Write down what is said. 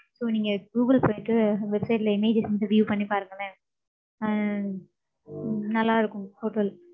So, நீங்க Google போயிட்டு, website ல images அ, view பண்ணி பாருங்களேன். அஹ் நல்லா இருக்கும், hotel